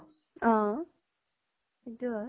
অ সিতো হয়